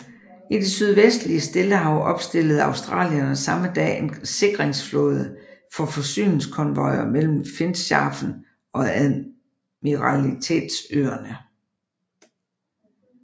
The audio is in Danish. I det sydvestlige Stillehav opstillede australierne samme dag en sikringsflåde for forsyningskonvojer mellem Finschhafen og Admiralitetsøerne